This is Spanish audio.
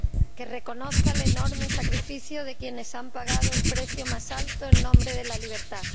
que reconozca el enorme sacrificio de quienes han pagado el precio más alto en nombre de la libertad.